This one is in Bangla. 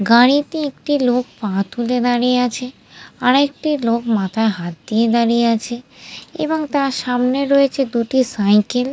গাড়িতে একটি লোক পা তুলে দাঁড়িয়ে আছে আর একটি লোক মাথায় হাত দিয়ে দাঁড়িয়ে আছে এবং তার সামনে রয়েছে দুটি সাইকেল ।